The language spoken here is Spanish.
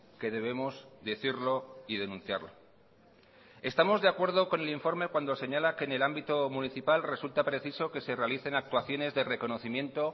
que debemos decirlo y denunciarlo estamos de acuerdo con el informe cuando señala que en el ámbito municipal resulta preciso que se realicen actuaciones de reconocimiento